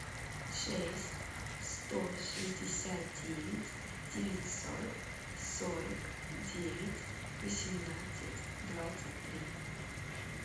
шесть сто шестьдесят девять девятьсот сорок девять восемнадцать двадцать три